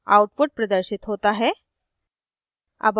output प्रदर्शित होता है